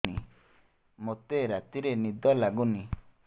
ମୋତେ ରାତିରେ ନିଦ ଲାଗୁନି